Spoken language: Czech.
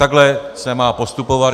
Takhle se má postupovat.